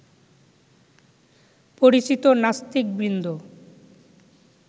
পরিচিত নাস্তিকবৃন্দ